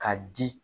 Ka di